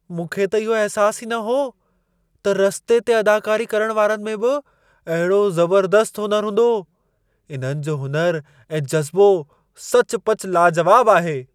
मूंखे त इहो अहसासु ई न हो, त रस्ते ते अदाकारी करण वारनि में बि अहिड़ो ज़बर्दस्तु हुनुरु हूंदो। इन्हनि जो हुनुर ऐं जज़्बो सचपचु लाजवाब आहे। (शख़्सु 1)